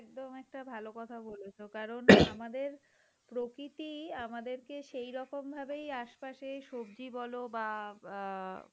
এটা একদম একটা ভালো কথা বলেছ কারণ আমাদের প্রকৃতি আমাদেরকে সেই রকম ভাবেই আশেপাশে সবজি বল বাহঃ অ্যাঁ